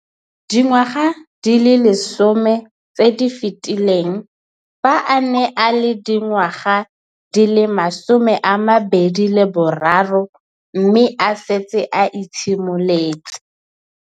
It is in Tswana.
Dingwaga di le 10 tse di fetileng, fa a ne a le dingwaga di le 23 mme a setse a itshimoletse.